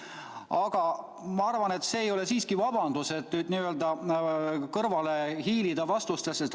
Aga ma arvan, et see ei ole siiski vabandus, et hiilida kõrvale vastustest.